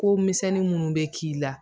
Ko misɛnnin minnu bɛ k'i la